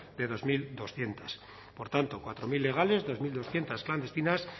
de dos mil doscientos por tanto cuatro mil legales dos mil doscientos clandestinas